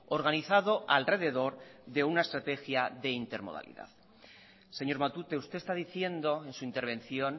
organizado alrededor de una estrategia de intermodalidad señor matute usted está diciendo en su intervención